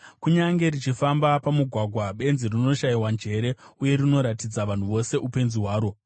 Kunyange richifamba pamugwagwa, benzi rinoshayiwa njere uye rinoratidza vanhu vose upenzi hwaro.